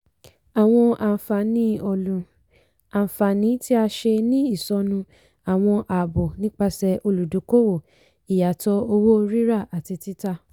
àwọn àǹfààní ọlú - àǹfààní tí a ṣe ní ìsọnù àwọn àábò nipasẹ̀ olùdókòwò ìyàtọ̀ owó ríra àti títa.